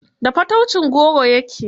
Da fataucin goro ya ke.